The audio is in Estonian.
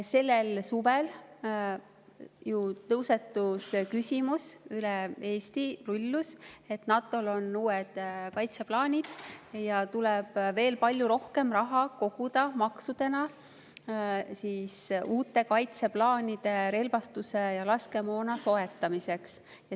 Sellel suvel ju tõusetus ja üle Eesti rullus küsimus, et kuna NATO-l on uued kaitseplaanid, tuleb veel palju rohkem raha koguda maksudena uue relvastuse ja laskemoona soetamiseks.